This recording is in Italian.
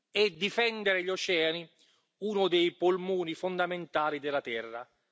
secondo, difendere gli oceani, uno dei polmoni fondamentali della Terra.